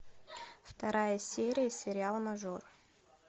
вторая серия сериала мажор